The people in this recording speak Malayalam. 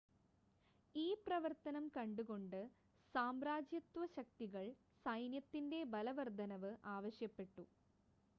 ഈ പ്രവർത്തനം കണ്ടുകൊണ്ട് സാമ്രാജ്യത്വ ശക്തികൾ സൈന്യത്തിൻ്റെ ബലവർദ്ധനവ് ആവശ്യപ്പെട്ടു